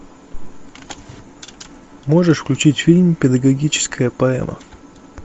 можешь включить фильм педагогическая поэма